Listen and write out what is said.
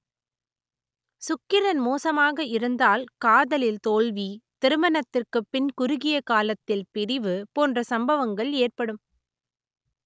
சுக்கிரன் மோசமாக இருந்தால் காதலில் தோல்வி திருமணத்திற்கு பின் குறுகிய காலத்தில் பிரிவு போன்ற சம்பவங்கள் ஏற்படும்